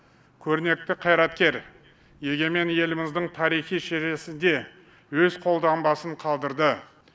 көрнекті қайраткер егемен еліміздің тарихи шежіресінде өз қолтаңбасын қалдырды